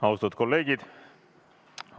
Austatud kolleegid!